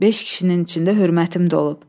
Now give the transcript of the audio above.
Beş kişinin içində hörmətim də olub.